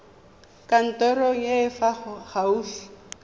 kantorong e e fa gaufi